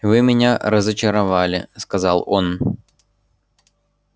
вы меня разочаровали сказал он